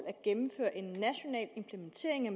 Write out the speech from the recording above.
at gennemføre en national implementering i